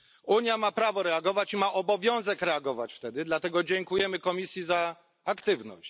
Unia ma prawo reagować i ma obowiązek reagować wtedy, dlatego dziękujemy Komisji za aktywność.